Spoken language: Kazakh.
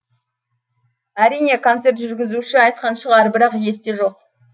әрине концерт жүргізуші айтқан шығар бірақ есте жоқ